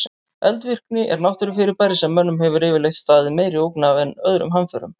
Eldvirkni er náttúrufyrirbæri sem mönnum hefur yfirleitt staðið meiri ógn af en öðrum hamförum.